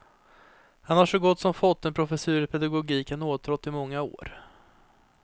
Han har så gott som fått den professur i pedagogik han åtrått i många år.